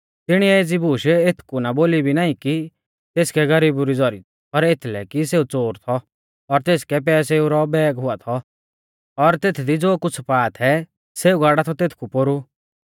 तिणीऐ एज़ी बूश एथकु ना बोली भी नाईं कि तेसकै गरीबु री ज़ौरी थी पर एथलै कि सेऊ च़ोर थौ और तेसकै पैसेऊ रौ बैग हुआ थौ और तेथदी ज़ो कुछ़ पा थै सेऊ गाड़ा थौ तेथकु पोरु